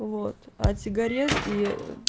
вот от сигарет и